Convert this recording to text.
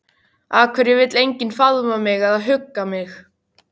Af hverju vill enginn faðma mig eða hugga mig?